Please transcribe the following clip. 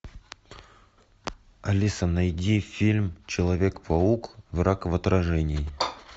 алиса найди фильм человек паук враг в отражении